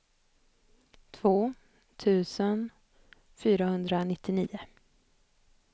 två tusen fyrahundranittionio